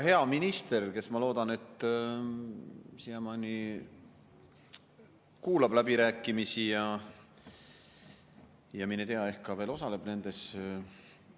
Hea minister, kes, ma loodan, siiamaani kuulab läbirääkimisi ja mine tea, ehk ka veel osaleb nendes.